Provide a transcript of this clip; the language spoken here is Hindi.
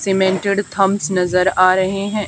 सीमेंटेड थम्स नजर आ रहे हैं।